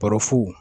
Baro fu